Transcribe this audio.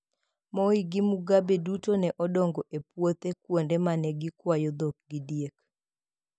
Moi gi Mugabe duto ne odongo e puothe kuonde ma ne gikwayo dhok gi diek.